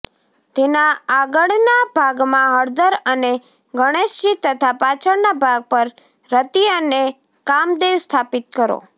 તેના આગળના ભાગમાં હળદર અને ગણેશજી તથા પાછળના ભાગ પર રતિ અને કામદેવ સ્થાપિત કરો